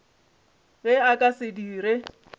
ge a ka se dire